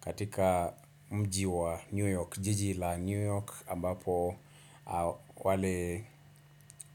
katika mji wa New York. Jiji la New York ambapo